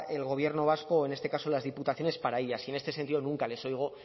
el gobierno vasco en este caso las diputaciones para ellas y en este sentido nunca les oigo